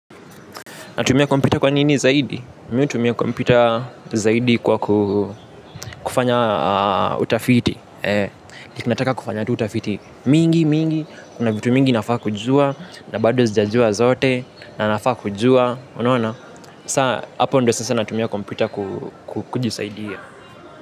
Natumia kompyuta kwa nini zaidi? Mi hutumia kompyuta zaidi kwa kufanya utafiti. Ninataka kufanya tu utafiti mingi, mingi. Kuna vitu mingi nafaa kujua, na bado sijajua zote, na nafaa kujua. Unaona? Sa, hapo ndo sasa natumia kompyuta kujisaidia.